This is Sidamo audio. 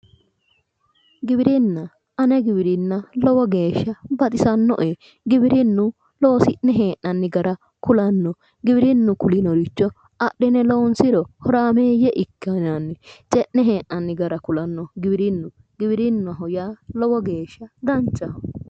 Giwirinna ane giwirinna lowo geeshsha baxisannoe giwirinnu loosi'ne hee'nanni gara kulanno giwirinnu kulinoricho adhine loonsiro horaameeyya ikkinanni ce'ne hee'nanni gara kulanno giwwirinnu giwirinnaho yaa lowo geeshsha danchaho